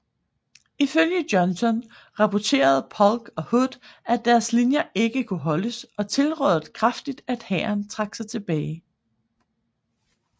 Ifølge Johnston rapporterede Polk og Hood at deres linjer ikke kunne holdes og tilrådede kraftigt at hæren trak sig tilbage